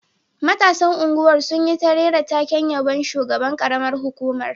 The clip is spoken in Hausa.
Matasan unguwar sun yi ta rera taken yabon shugaban karamar hukumar